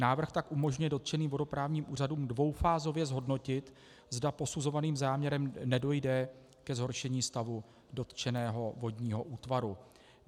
Návrh tak umožňuje dotčeným vodoprávním úřadům dvoufázově zhodnotit, zda posuzovaným záměrem nedojde ke zhoršení stavu dotčeného vodního útvaru.